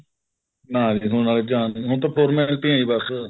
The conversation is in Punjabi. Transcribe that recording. ਨਾ ਜੀ ਹੁਣ ਵਾਲੇ ਚ ਜਾਨ ਨੀ ਹੈਗੀ ਹੁਣ ਤਾਂ ਤੁਰ ਮਿਲ ਕੇ ਹੀ ਬੱਸ